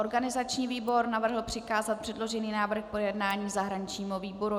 Organizační výbor navrhl přikázat předložený návrh k projednání zahraničnímu výboru.